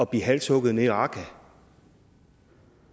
blive halshugget nede i raqqa